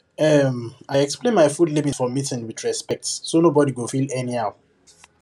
um i explain my food limits for meeting with respect so nobody go feel anyhow